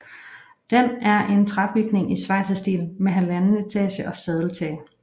Den er en træbygning i schweizerstil med halvanden etage og sadeltag